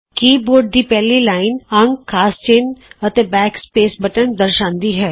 ਕੀ board ਦੀ ਪਹਿਲੀ line ਅੰਕ ਖਾਸ ਚਿੰਨ੍ਹ ਅਤੇ ਬੈਕ ਸਪੈਸ ਬਟਨ ਦਰਸਾਂਦੀ ਹੈ